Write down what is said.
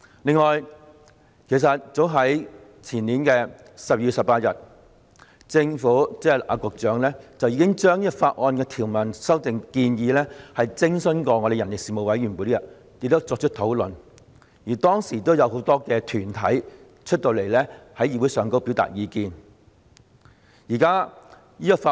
另外，早在前年12月18日，政府，即局長，已就這項《條例草案》的條文修訂建議徵詢人力事務委員會，並在其會議內進行討論，而當時亦有很多團體在會議上表達意見。